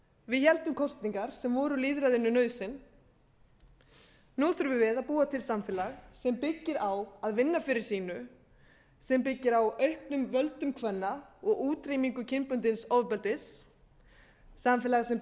við héldum kosningar sem voru lýðræðinu nauðsyn nú þurfum við að búa til samfélag sem byggir á að vinna fyrir sínu sem byggir á auknum völdum kvenna og útrýmingu kynbundins ofbeldis samfélagi sem